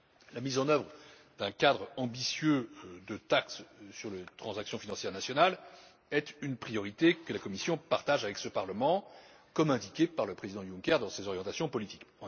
La mise en œuvre d'un cadre ambitieux de taxe sur les transactions financières nationales est une priorité que la Commission partage avec ce Parlement, comme indiqué par le président Juncker dans ses orientations politiques.